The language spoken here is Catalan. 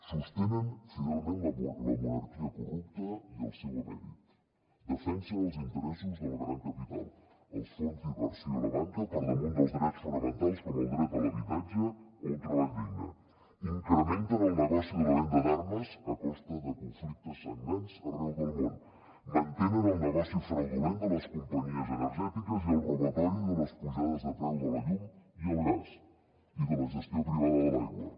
sostenen fidelment la monarquia corrupta i el seu emèrit de fensen els interessos del gran capital i els fons d’inversió a la banca per damunt dels drets fonamentals com el dret a l’habitatge o a un treball digne incrementen el negoci de la venda d’armes a costa de conflictes sagnants arreu del món mantenen el negoci fraudulent de les companyies energètiques i el robatori de les pujades de preu de la llum i el gas i de la gestió privada de l’aigua